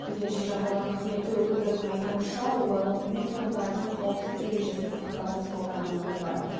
төтенше жағдайлар қызметі өкілдерінің айтуынша улану үй тұрғындарының қауіпсіздік ережесін сақтамау салдарынан болған